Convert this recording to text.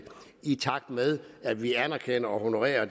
i takt med at vi anerkender og honorerer